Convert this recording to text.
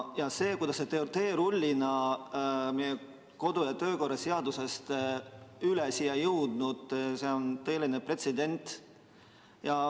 See, kuidas see on teerullina meie kodu- ja töökorra seadusest üle sõitnud, on pretsedent.